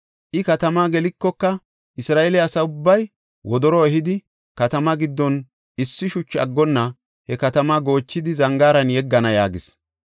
I katamaa gelikoka, Isra7eele asa ubbay wodoro ehidi, katamaa giddon issi shuchi aggonna he katamaa goochidi zangaaran yeggana” yaagis.